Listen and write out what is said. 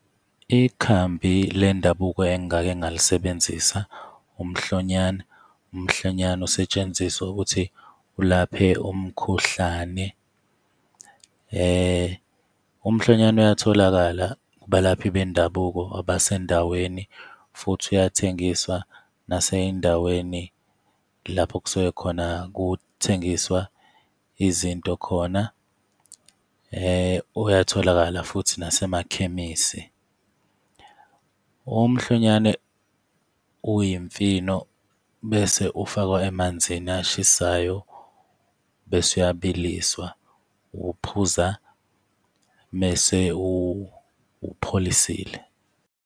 Ikhambi lendabuko engake ngalisebenzisa, umhlonyane. Umhlonyane usetshenziswa ukuthi ulaphe umkhuhlane. Umhlonyane uyatholakala kubalaphi bendabuko abasendaweni, futhi uyathengiswa nasey'ndaweni lapho kusuke khona kuthengiswa izinto khona, uyatholakala futhi nasemakhemisi. Umhlonyane uy'mfino, bese ufakwa emanzini ashisayo bese uyabiliswa. Uwuphuza mese uwupholisile.